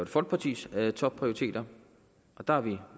folkepartis topprioriteter og der er vi